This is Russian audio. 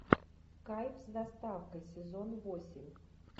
кайф с доставкой сезон восемь